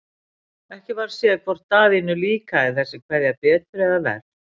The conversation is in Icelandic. Ekki varð séð hvort Daðínu líkaði þessi kveðja betur eða verr.